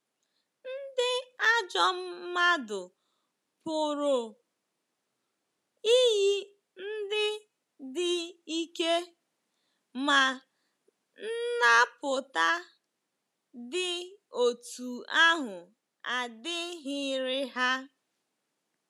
Ndị ajọ m mmadụ pụrụ iyi ndị dị ike, ma nnapụta dị otú ahụ adịghịrị ha.